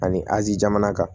Ani azi jamana kan